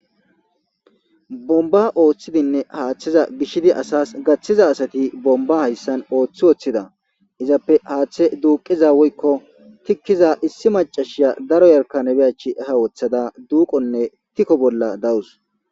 bomba ooththidinne haaththeza gishidi asas gaththiza asati bomba hayssan ooththi ooththida izappe haaththe duuqiza woykko tikkiza issi macashiya daro yarkanebe achi eha wothada duuqonne tikko bolla dawus